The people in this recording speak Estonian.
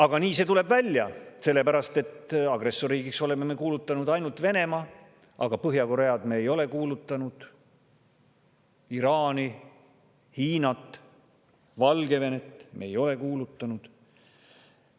Aga nii see tuleb välja, sest agressorriigiks oleme kuulutanud ainult Venemaa, aga Põhja-Koread, Iraani, Hiinat, Valgevenet ei ole me agressorriigiks kuulutanud.